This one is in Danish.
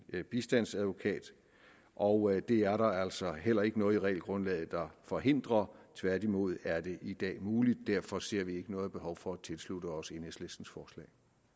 bistandsadvokat og det er der altså heller ikke noget i regelgrundlaget der forhindrer tværtimod er det i dag muligt derfor ser vi ikke noget behov for at tilslutte os enhedslistens forslag